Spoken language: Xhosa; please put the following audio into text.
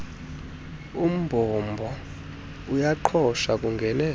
umbombo uyaqhosha kungene